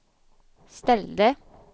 ställde